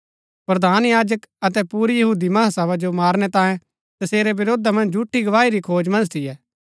प्रधान याजक अतै पुरी महासभा यीशु जो मारनै तांयें तसेरै वरोधा मन्ज झूठी गवाही री खोज मन्ज थियै